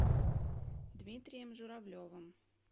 дмитрием журавлевым